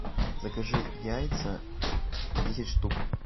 закажи яйца десять штук